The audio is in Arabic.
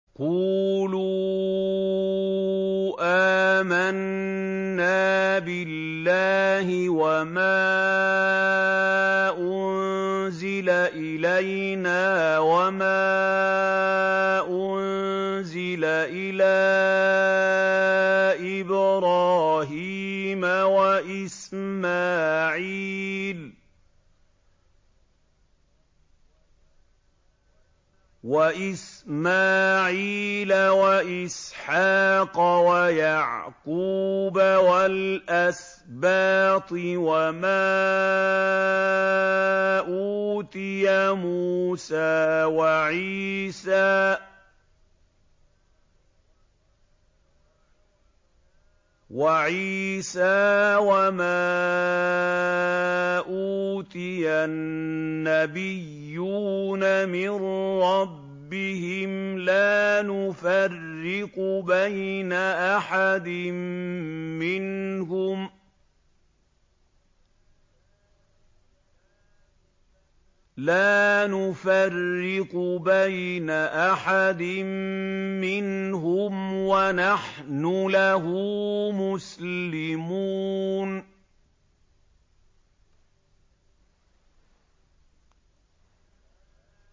قُولُوا آمَنَّا بِاللَّهِ وَمَا أُنزِلَ إِلَيْنَا وَمَا أُنزِلَ إِلَىٰ إِبْرَاهِيمَ وَإِسْمَاعِيلَ وَإِسْحَاقَ وَيَعْقُوبَ وَالْأَسْبَاطِ وَمَا أُوتِيَ مُوسَىٰ وَعِيسَىٰ وَمَا أُوتِيَ النَّبِيُّونَ مِن رَّبِّهِمْ لَا نُفَرِّقُ بَيْنَ أَحَدٍ مِّنْهُمْ وَنَحْنُ لَهُ مُسْلِمُونَ